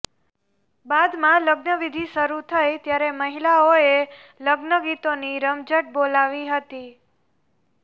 બાદમાં લગ્નવિધિ શરૂ થઇ ત્યારે મહિલાઓએ લગ્ન ગીતોની રમઝટ બોલાવી હતી